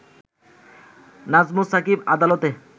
নাজমুস সাকিব আদালতে